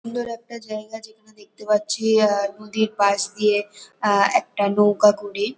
সুন্দর একটা জায়গা যেখানে দেখতে পাচ্ছি আ নদীর পাশ দিয়ে আ একটা নৌকা কুড়ি --